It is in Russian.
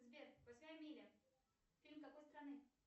сбер восьмая миля фильм какой страны